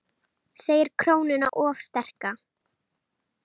Segir krónuna of sterka